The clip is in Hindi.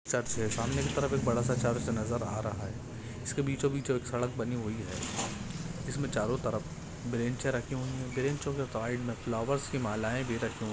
सामने की तरफ एक बड़ा सा चर्च नजर आ रहा है उसके बीचो बीच एक सड़क बनी हुई है इसमें चरो तरफ बेंचे रखी हुई है बेंचों के साइड मे फ्लावर्स की मालाएँ भी रखी हुई--